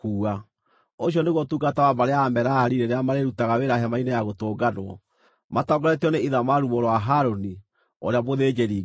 Ũcio nĩguo ũtungata wa mbarĩ ya Amerari rĩrĩa marĩrutaga wĩra Hema-inĩ-ya-Gũtũnganwo, matongoretio nĩ Ithamaru mũrũ wa Harũni, ũrĩa mũthĩnjĩri-Ngai.”